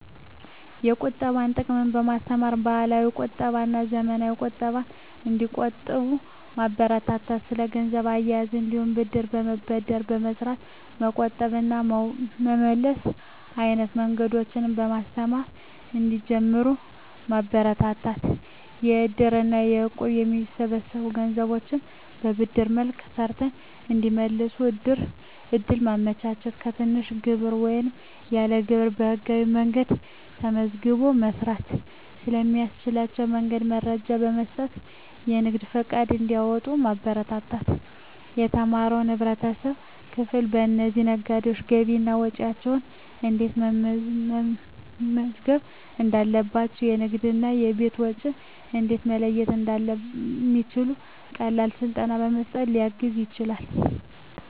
የቁጠባን ጥቅም በማስተማር፣ ባህላዊ ቁጠባና ዘመናዊ ቁጠባን እንዲቆጥቡ ማበረታታት። ስለ ገንዘብ አያያዝ እንዲሁም ብድር በመበደር በመስራት መቆጠብ እና መመለስ አይነት መንገዶችን በማስተማር እንዲጀምሩት ማበረታታት። በእድር እና በእቁብ የሚሰበሰቡ ገንዘቦችን በብድር መልክ ሰርተው እንዲመልሱ እድል ማመቻቸት። በትንሽ ግብር ወይም ያለ ግብር በህጋዊ መንገድ ተመዝግቦ መስራት ስለሚቻልባቸው መንገዶች መረጃ በመስጠት የንግድ ፈቃድ እንዲያወጡ ማበረታታት። የተማረው የህብረተሰብ ክፍል ለእነዚህ ነጋዴዎች ገቢና ወጪያቸውን እንዴት መመዝገብ እንዳለባቸው፣ የንግድና የቤት ወጪን እንዴት መለየት እንደሚችሉ ቀላል ስልጠናዎችን በመስጠት ሊያግዝ ይችላል።